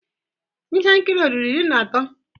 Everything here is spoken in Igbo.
Ihe nkiri a ọ̀ ruru iri na atọ?